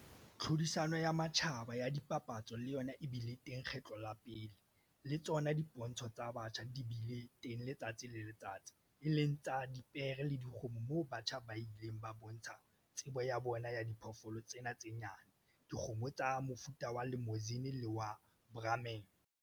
Tlhodisano ya matjhaba ya dipapatso le yona e bile teng kgetlo la pele, le tsona dipontsho tsa batjha di bile teng letsatsi le letsatsi, e leng tsa dipere le dikgomo moo batjha ba ileng ba bontsha tsebo ya bona ya diphoofolo tsena tse nyane, dikgomo tsa mofuta wa Limousin le wa Brahman.